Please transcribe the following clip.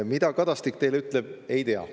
Mida Kadastik teile ütleb, ma ei tea.